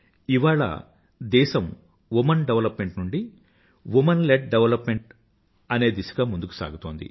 ఇవాళ దేశం woman development నుండి వుమన్లీడ్ డెవలప్మెంట్ అంటే దిశగా ముందుకు సాగుతోంది